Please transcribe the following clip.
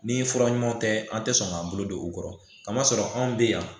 Ni fura ɲumanw tɛ an tɛ sɔn k'an bolo don u kɔrɔ ka masɔrɔ anw bɛ yan